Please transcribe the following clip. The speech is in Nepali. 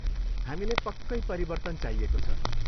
हामीलाई पक्कै परिवर्तन चाहिएको छ।